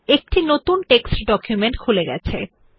একটি নতুন পাঠ্য ডকুমেন্ট খুলে গেছে